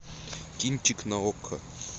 кинчик на окко